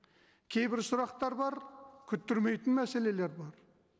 кейбір сұрақтар бар күттірмейтін мәселелер бар